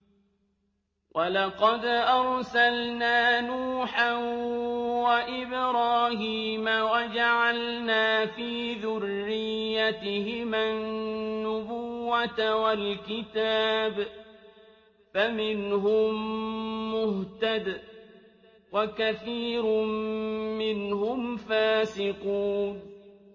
وَلَقَدْ أَرْسَلْنَا نُوحًا وَإِبْرَاهِيمَ وَجَعَلْنَا فِي ذُرِّيَّتِهِمَا النُّبُوَّةَ وَالْكِتَابَ ۖ فَمِنْهُم مُّهْتَدٍ ۖ وَكَثِيرٌ مِّنْهُمْ فَاسِقُونَ